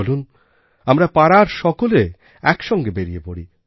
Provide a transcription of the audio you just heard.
চলুন আমরা পাড়ার সকলে একসঙ্গে বেরিয় পড়ি